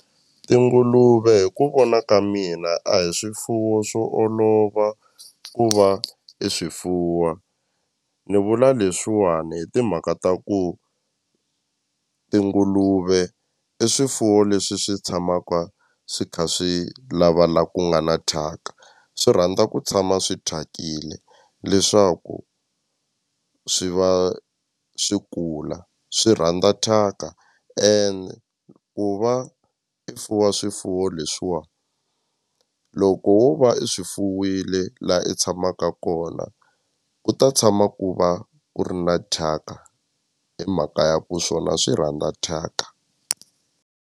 Tinguluve hi ku vona ka mina a hi swifuwo swo olova ku va i swifuwa ni vula leswiwani hi timhaka ta ku tinguluve i swifuwo leswi swi tshamaka swi kha swi lava la ku nga na thyaka swi rhandza ku tshama swi thyakile leswaku swi va swi kula swi rhandza thyaka ene ku va i fuwa swifuwo leswiwa loko wo va i swi fuwile la i tshamaka kona ku ta tshama ku va ku ri na thyaka hi mhaka ya ku swona swi rhandza thyaka.